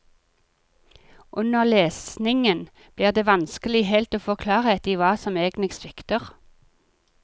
Under lesningen blir det vanskelig helt å få klarhet i hva som egentlig svikter.